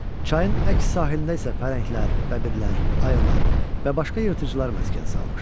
Çayın əks sahilində isə pələnglər, bəbirlər, ayılar və başqa yırtıcılar məskən salmışdı.